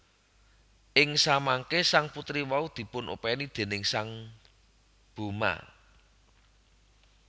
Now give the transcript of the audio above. Ing samangké sang putri wau dipun opèni déning sang Bhoma